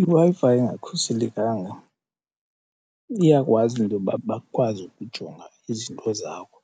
IWi-Fi engakhuselekanga iyakwazi into yoba bakwazi ukujonga izinto zakho